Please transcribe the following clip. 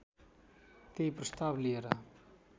त्यही प्रस्ताव लिएर